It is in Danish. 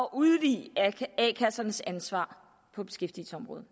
at udvide a kassernes ansvar på beskæftigelsesområdet